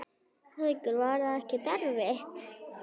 Haukur: Var það ekkert erfitt?